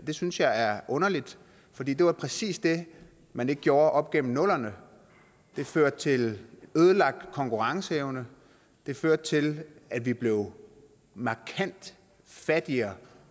det synes jeg er underligt for det det var præcis det man ikke gjorde op gennem nullerne det førte til ødelagt konkurrenceevne det førte til at vi blev markant fattigere